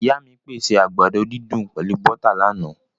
Ìyá mí pèsè àgbàdo didùn pẹlu bọ́tà láána